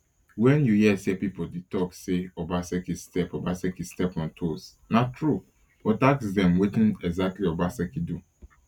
wen you hear pipo dey tok say obaseki step obaseki step on toes na true but ask dem wetin exactly obaseki do